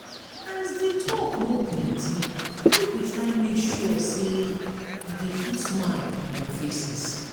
as di talk no plenty make we try make sure say e de put smile on their faces